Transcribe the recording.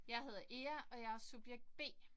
Jeg hedder Ea og jeg er subjekt B